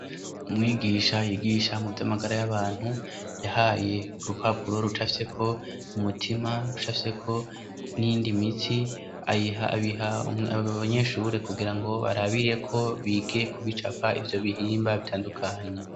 Umwigisha yigisha mu vy'amagara y'abantu yahaye urupapuro rucafyeko umutima, rucafyeko n'iyindi mitsi, abiha abanyeshure kugira ngo barabireko bige ku bicapa ivyo bihimba bitandukanya.